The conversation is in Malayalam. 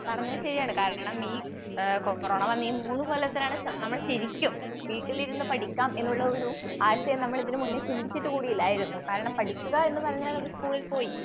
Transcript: പറഞ്ഞത് ശരിയാണ്. കാരണം ഈ ഏഹ് കൊറോണ വന്നീ മൂന്നുകൊല്ലത്തിലാണ് നമ്മള് ശരിക്കും വീട്ടിലിരുന്നു പഠിക്കാം എന്നുള്ള ഒരു ആശയം ഇതിനു മുന്നേ നമ്മൾ ചിന്തിച്ചിട്ട് കൂടി ഇല്ലായിരുന്നു. കാരണം പഠിക്കുക എന്നു പറഞ്ഞാൽ അത് സ്കൂളിൽ പോയി.